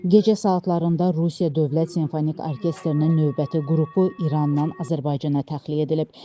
Gecə saatlarında Rusiya dövlət simfonik orkestrinin növbəti qrupu İrandan Azərbaycana təxliyə edilib.